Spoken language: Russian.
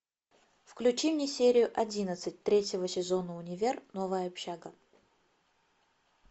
включи мне серию одиннадцать третьего сезона универ новая общага